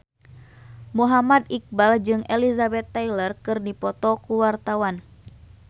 Muhammad Iqbal jeung Elizabeth Taylor keur dipoto ku wartawan